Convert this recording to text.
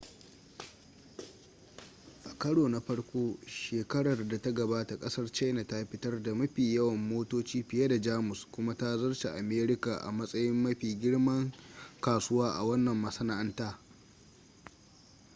a karo na farko shekarar da ta gabata kasar china ta fitar da mafi yawan motoci fiye da jamus kuma ta zarce america a matsayin mafi girman kasuwa a wanan masana'anta